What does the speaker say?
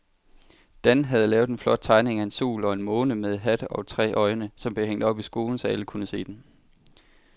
Dan havde lavet en flot tegning af en sol og en måne med hat og tre øjne, som blev hængt op i skolen, så alle kunne se den.